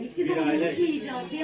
Yəni heç bir zaman unutmayacağıq.